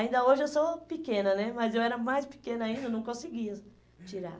Ainda hoje eu sou pequena né, mas eu era mais pequena ainda, eu não conseguia tirar.